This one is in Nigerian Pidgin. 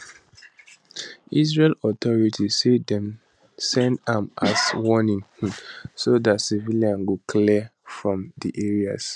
israeli authorities say dem send am as a warning um so dat civilians go clear from di areas